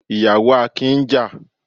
Àwọn ìyàwó Akin ń jà.